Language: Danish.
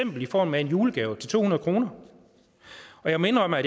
i form af en julegave til to hundrede kroner jeg må indrømme at